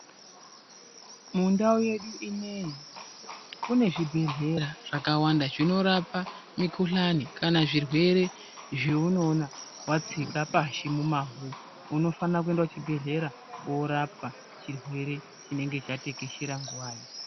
Mundau yedu ineyi kune zvibhedhlera zvakawanda zvinorapa mikuhlani kana zvirwere zvaunoona, watsika pashi mumavhu unofana kuenda kuchibhedhlera korapwa chirwere chinenge chatekeshera nguwayo.